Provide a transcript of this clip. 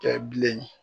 Kɛ bilen